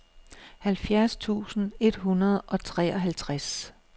halvfjerds tusind et hundrede og treoghalvtreds